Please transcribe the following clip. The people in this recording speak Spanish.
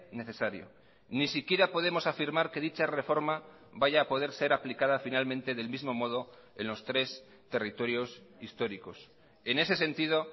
necesario ni siquiera podemos afirmar que dicha reforma vaya a poder ser aplicada finalmente del mismo modo en los tres territorios históricos en ese sentido